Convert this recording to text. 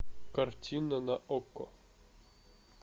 картина на окко